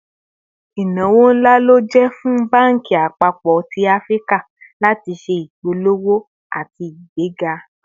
Ìnáwó ńlá ló jẹ́ fún banki àpapọ̀ tí Áfíríkà láti ṣé ìpolówó àti igbega